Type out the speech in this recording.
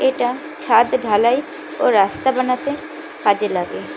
এটা ছাদ ঢালাই ও রাস্তা বানাতে কাজে লাগে।